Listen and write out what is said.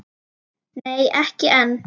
Nei, ekki enn.